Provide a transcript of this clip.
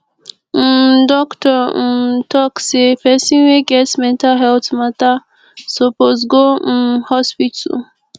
um doctor um talk sey pesin wey get mental healt mata suppose go um hospital